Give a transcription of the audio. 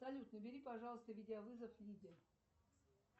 салют набери пожалуйста видеовызов лиде